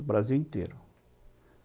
O Brasil inteiro.